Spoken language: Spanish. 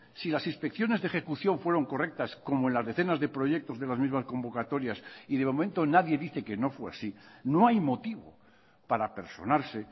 si las inspecciones de ejecución fueron correctas como en las decenas de proyectos de las mismas convocatorias y de momento nadie dice que no fue así no hay motivo para personarse